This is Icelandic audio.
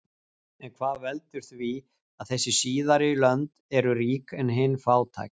en hvað veldur því að þessi síðari lönd eru rík en hin fátæk